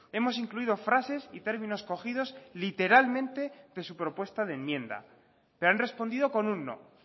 hemos incluido frases y términos cogidos literalmente de su propuesta de enmienda pero han respondido con un no